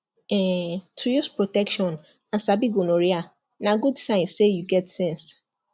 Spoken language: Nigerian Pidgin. um to use protection and sabi gonorrhea na good sign say you get sense